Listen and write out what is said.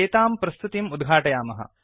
इत्येतां प्रस्तुतिम् उद्घाटयामः